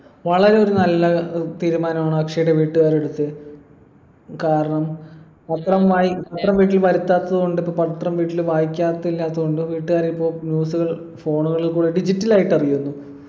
വളരെ ഒരു നല്ല ഏർ തീരുമാനമാണ് അക്ഷയുടെ വീട്ടുകാർ എടുത്തെ കാരണം പത്രം വായി പത്രം വീട്ടിൽ വരുത്താത്തത് കൊണ്ട് ഇപ്പൊ പത്രം വീട്ടിൽ വായിക്കാത്ത ഇല്ലാത്ത കൊണ്ടും വീട്ടുകാര് ഇപ്പൊ news കൾ phone കളിൽ കൂടി digital ആയിട്ട് അറിയുന്നു